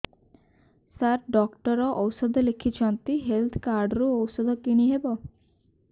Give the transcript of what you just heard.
ସାର doctor ଔଷଧ ଲେଖିଛନ୍ତି health card ରୁ ଔଷଧ କିଣି ହେବ